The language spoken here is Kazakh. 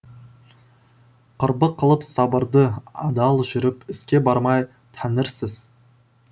құрбы қылып сабырды адал жүріп іске бармай тәңірсіз